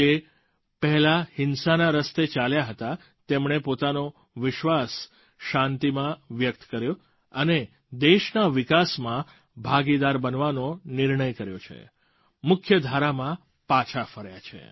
જે પહેલાં હિંસાના રસ્તે ચાલ્યા ગયા હતા તેમણે પોતાનો વિશ્વાસ શાંતિમાં વ્યક્ત કર્યો અને દેશના વિકાસમાં ભાગીદાર બનવાનો નિર્ણય કર્યો છે મુખ્ય ધારામાં પાછા ફર્યા છે